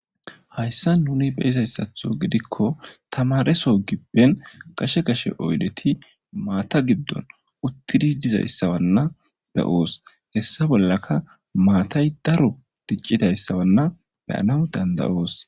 hayssa nuni beyizayssatho gidikko tamareso gibben kashe kashe oydeti maata giddon uttidi dizayssawanna be7oos hessa bollaka maatay daro ticcidayssawanna beyanaw dandayoos